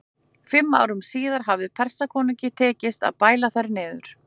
Fimm árum síðar hafði Persakonungi tekist að bæla þær niður.